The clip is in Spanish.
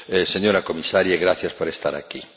Señora Comisaria, gracias por estar aquí.